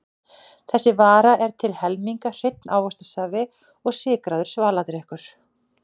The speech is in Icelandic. Þessi vara er til helminga hreinn ávaxtasafi og sykraður svaladrykkur.